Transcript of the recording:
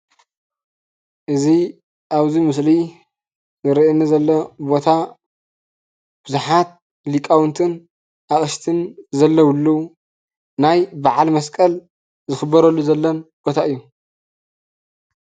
እዚ ኣብዚ ምስሊ ዝርእየኒ ዘሎ ቦታ ቡዝሓት ሊቃውንትን ኣቅሽትን ዘለውሉ ናይ በዓል መስቀል ዝክበረሉ ዘሎን ቦታ እዩ።